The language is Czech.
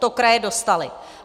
To kraje dostaly.